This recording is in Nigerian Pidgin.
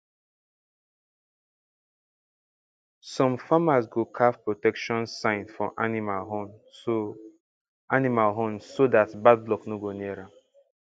some farmers go carve protection sign for animal horn so animal horn so dat bad luck no go near am